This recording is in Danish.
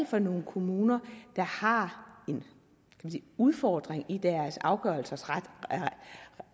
for nogle kommuner der har en udfordring i deres afgørelsers